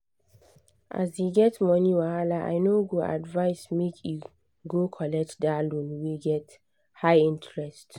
as e get money wahala i no go advise make e go collect that loan wey get high interest.